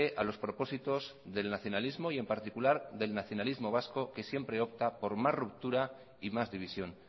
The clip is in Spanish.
a los propósitos del nacionalismo y en particular del nacionalismo vasco que siempre opta por más ruptura y más división